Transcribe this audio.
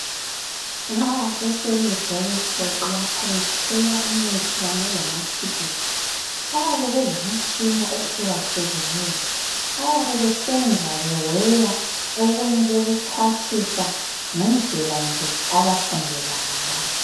Nxa beselebheruthori lapha bepheka imithi kanye lamaphilisi bayabe belemitshina ehlukahlukeneyo. Bayabe besenza beweya okunye bekuxhwathisa ngendlela nje abafundela ngayo.